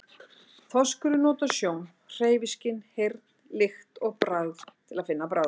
Þorskurinn notar sjón, hreyfiskyn, heyrn, lykt og bragð til að finna bráðina.